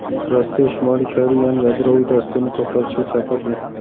Rossiya Shimoliy Koreyani yadroviy dasturni to‘xtatishga chaqirdi.